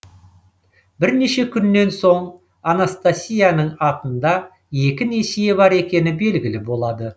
бірнеше күннен соң анастасияның атында екі несие бар екені белгілі болады